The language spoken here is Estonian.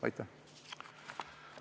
Aitäh!